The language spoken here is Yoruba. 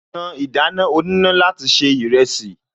Ta ìdáná oníná láti se ìrẹsì